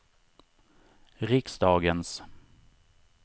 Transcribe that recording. riksdagens